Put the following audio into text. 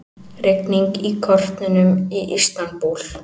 Rigning í kortunum í Istanbúl